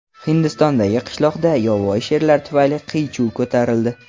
Hindistondagi qishloqda yovvoyi sherlar tufayli qiy-chuv ko‘tarildi.